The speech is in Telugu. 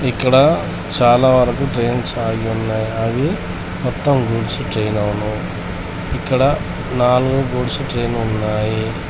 ఇక్కడ చాలా వరకు ట్రైన్స్ ఆగి ఉన్నాయి అవి మొత్తం గూడ్స్ ట్రైన్ అవును ఇక్కడ నాలుగు గూడ్స్ ట్రైను ఉన్నాయి.